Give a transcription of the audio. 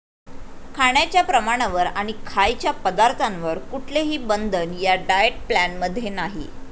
खाण्याच्या प्रमाणावर आणि खायच्या पदार्थांवर कुठलेही बंधन या डाएट प्लॅन मध्ये नाही.